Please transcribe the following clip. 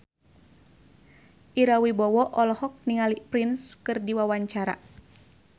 Ira Wibowo olohok ningali Prince keur diwawancara